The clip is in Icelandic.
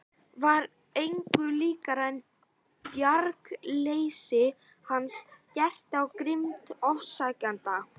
Var engu líkara en bjargarleysi hans herti á grimmd ofsækjendanna.